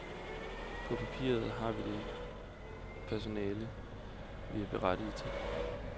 På papiret har vi det personale, vi er berettiget til.